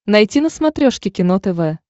найти на смотрешке кино тв